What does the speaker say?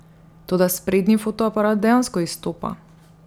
Toda sprednji fotoaparat dejansko izstopa.